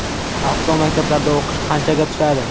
Avtomaktablarda o‘qish qanchaga tushadi?.